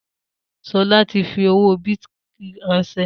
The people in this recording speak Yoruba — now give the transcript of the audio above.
Sola tí fi owó bìtì ránsẹ́